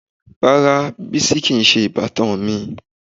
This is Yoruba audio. Rárá, Bísí kìí ṣe ìbátan mi.